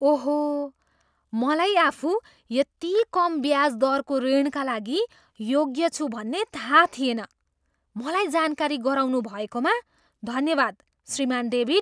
ओहो! मलाई आफू यति कम ब्याज दरको ऋणका लागि योग्य छु भन्ने थाहा थिएन। मलाई जानकारी गराउनुभएकोमा धन्यवाद, श्रीमान् डेभिड।